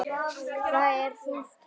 Það er þungt högg.